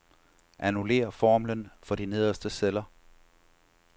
Annullér formlen for de nederste celler.